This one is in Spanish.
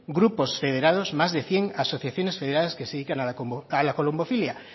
grupos federados más de cien asociaciones federadas que se dedican a la colombofilia